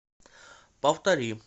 повтори